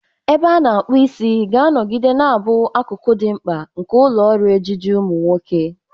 Ebe a na-akpu isi ga-anọgide na-abụ akụkụ dị mkpa nke ụlọ ọrụ ejiji ụmụ nwoke.